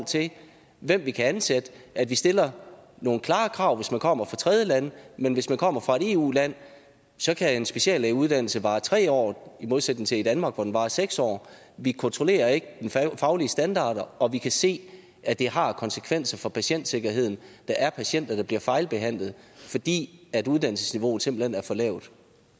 hvem vi kan ansætte at vi stiller nogle klare krav hvis man kommer fra tredjelande men hvis man kommer fra et eu land så kan en speciallægeuddannelse vare tre år i modsætning til i danmark hvor den varer seks år vi kontrollerer ikke de faglige standarder og vi kan se at det har konsekvenser for patientsikkerheden der er patienter der bliver fejlbehandlet fordi uddannelsesniveauet simpelt hen er for lavt